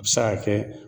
A bɛ se ka kɛ